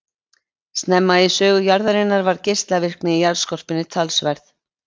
Snemma í sögu jarðarinnar var geislavirkni í jarðskorpunni talsverð.